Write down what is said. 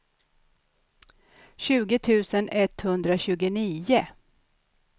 tjugo tusen etthundratjugonio